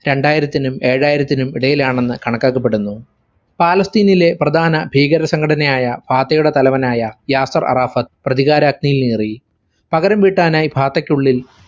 രണ്ടായിരത്തിനും ഏഴായിരത്തിനും ഇടയിലാണെന്ന് കണക്കാക്കപ്പെടുന്നു. പാലസ്‌തീനിലെ പ്രധാന ഭീകരസംഘടനയായ ഫാതയുടെ തലവനായ യാസർ അറാഫത് പ്രതികാരാഗ്നിയേറി. പകരംവീട്ടാനായി ഫാത്തക്കുള്ളിൽ